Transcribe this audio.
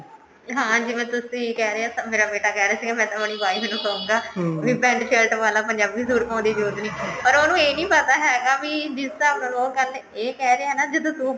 ਹਾਂ ਜਿਵੇਂ ਤੁਸੀਂ ਕਹਿ ਰਹੇ ਹੋ ਮੇਰਾ ਬੇਟਾ ਕਹਿ ਰਿਹਾ ਸੀਗਾ ਮੈਂ ਤਾਂ ਆਪਣੀ wife ਨੂੰ ਕਹੂੰਗਾ ਵੀ pent shirt ਪਾਲਾ ਪੰਜਾਬੀ suit ਪਾਉਣ ਦੀ ਜਰੂਰਤ ਨਹੀਂ ਪਰ ਉਹਨੂੰ ਇਹ ਨਹੀਂ ਪਤਾ ਹੈਗਾ ਵੀ ਜਿਸ ਢੰਗ ਨਾਲ ਉਹ ਇਹ ਕਹਿ ਰਿਹਾ ਹੈ ਨਾ ਜਦੋਂ ਤੂੰ